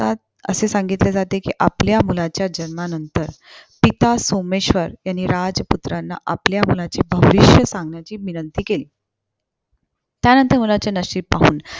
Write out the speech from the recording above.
असे सांगितले जाते, कि आपल्या मुलाच्या जन्मानंतर पिता सोमेश्वर यांनी राजपुत्राना आपल्या मुलाचे भविष्य सांगण्याची विंनंती केली. त्यानंतर मुलाचे नशीब पाहुन